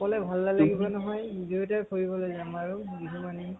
অকলে ভাল নালাগিব নহয়, বিহুতে ফুৰিবলৈ যাম আৰু বিহু মানি।